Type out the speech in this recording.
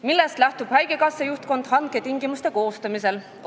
" Millest lähtub haigekassa juhtkond hanketingimuste koostamisel?